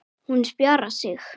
Hún spjarar sig.